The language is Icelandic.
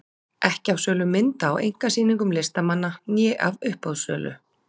Ekki af sölu mynda á einkasýningum listamanna né af uppboðssölu.